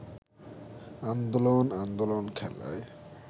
আন্দোলন আন্দোলন খেলায়